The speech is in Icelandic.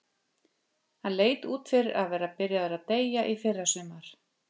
Hann leit út fyrir að vera byrjaður að deyja í fyrrasumar.